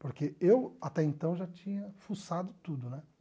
Porque eu até então já tinha fuçado tudo né.